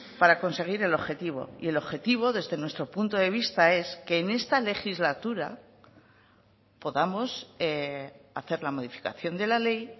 para conseguir el objetivo y el objetivo desde nuestro punto de vista es que en esta legislatura podamos hacer la modificación de la ley